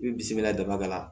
I bi bisimila dama dɔ la